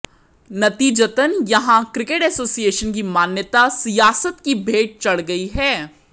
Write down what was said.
नतीजतन यहां cricket association की मान्यता सियासत की भेंट चढ़ गई है